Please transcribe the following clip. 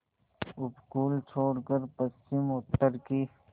उपकूल छोड़कर पश्चिमउत्तर की